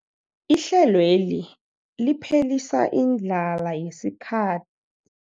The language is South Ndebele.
Ihlelweli liphelisa indlala yesikha